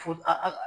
Fo a ka